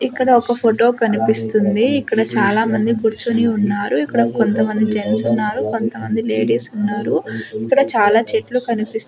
ఇక్కడ ఒక ఫోటో కనిపిస్తుంది. ఇక్కడ చాలా మంది కూర్చొని ఉన్నారు. ఇక్కడ కొంతమంది జెంట్స్ ఉన్నారు కొంతమంది లేడీస్ ఉన్నారు. ఇక్కడ చాలా చెట్లు కనిపిస్తూ --